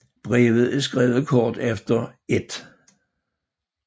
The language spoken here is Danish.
Brevet er skrevet kort efter 1